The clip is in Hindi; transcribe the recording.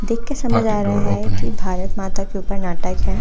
देख कर समझ आ रहा है कि भारत माता के ऊपर नाटक है।